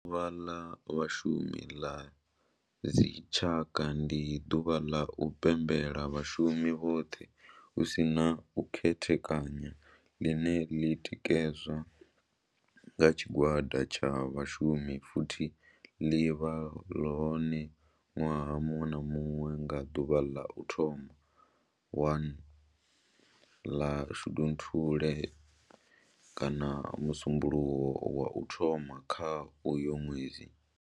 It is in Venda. Ḓuvha la Vhashumi la dzi tshaka, ndi duvha ḽa u pembela vhashumi vhothe hu si na u khethekanya ḽine ḽi tikedzwa nga tshigwada tsha vhashumi futhi ḽi vha hone nwaha munwe na munwe nga duvha ḽa u thoma 1 ḽa Shundunthule kana musumbulowo wa u thoma kha uyo nwedzi.